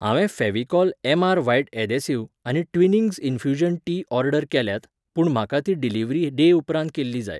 हांवें Fevicol M R. White adhesive आनी Twinings infusion tea order केल्यात, पूण म्हाका ती डिलिव्हरी डे उपरांत केल्ली जाय.